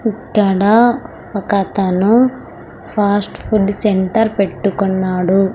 ఇక్కడ ఒకతను fast food centre పెట్టుకున్నాడు.